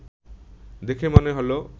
দেখে মনে হল